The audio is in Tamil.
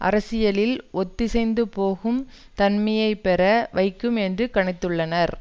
அரசியலில் ஒத்திசைந்து போகும் தன்மையை பெற வைக்கும் என்று கணித்துள்ளனர்